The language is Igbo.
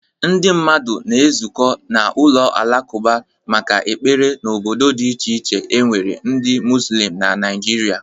Ndị mmadụ na-ezukọ n'ụlọ alakụba maka ekpere n'obodo dị iche iche e nwere ndị mozulem na naịjirịa.